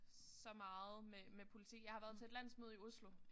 Så meget med med politik jeg har været til et landsmøde i Oslo